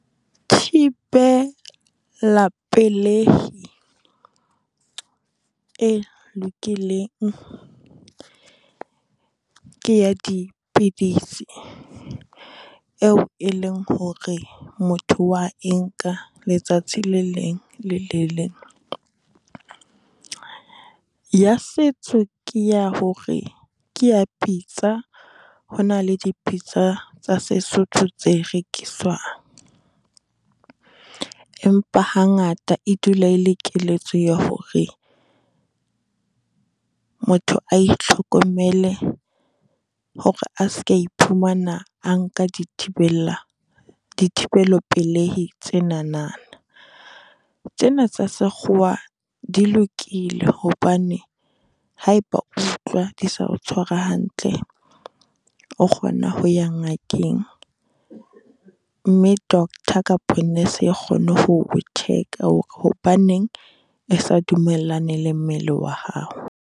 Thibela pelehi e lokileng ke ya dipidisi, eo e leng hore motho wa e nka letsatsi le leng le le leng. Ya setso ke ya hore ke ya pitsa, ho na le dipitsa tsa Sesotho tse rekiswang. Empa hangata e dula e le keletso ya hore motho a itlhokomele hore a seke a iphumana a nka dithibella, dithibelo pelehi tse nanana. Tsena tsa sekgowa di lokile hobane ha e ba o utlwa di sa o tshwara hantle, o kgona ho ya ngakeng mme doctor kapo nurse e kgone ho check-a hore hobaneng e sa dumellane le mmele wa hao.